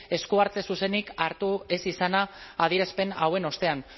esku hartze zuzenik hartu ez izana adierazpen hauen ostean